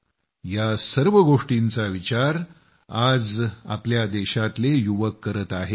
या सर्व गोष्टींचा विचार आज आपल्या देशातले युवक करताहेत